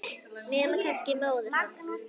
Nema kannski móðir hans.